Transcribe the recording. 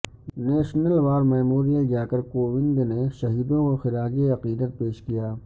national war memorial جاکر کووند نے شہیدوں کو خراج عقیدت پیش کیا